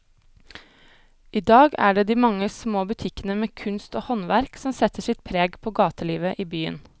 I dag er det de mange små butikkene med kunst og håndverk som setter sitt preg på gatelivet i byen.